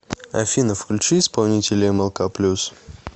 афина включи исполнителя эмэлка плюс